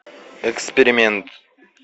эксперимент